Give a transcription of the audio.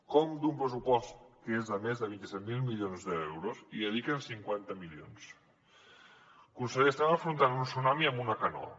com d’un pressupost que és de més de vint set mil milions d’euros hi dediquen cinquanta milions conseller estem afrontant un tsunami amb una canoa